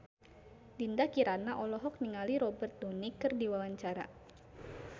Dinda Kirana olohok ningali Robert Downey keur diwawancara